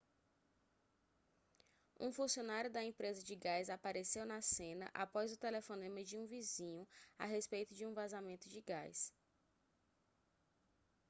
um funcionário da empresa de gás apareceu na cena após o telefonema de um vizinho a respeito de um vazamento de gás